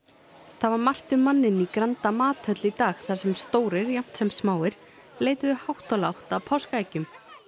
það var margt um manninn í Granda mathöll í dag þar sem stórir jafnt sem smáir leituðu hátt og lágt að páskaeggjum